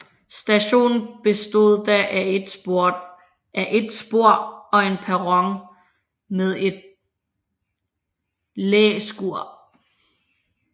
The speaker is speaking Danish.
Stationen bestod da af et spor og en perron med et læskur